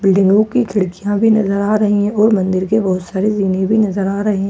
बिल्डिंगों की खिड़कियां भी नजर आ रही हैं और मंदिर के बहोत सारे जीने भी नजर आ रहे--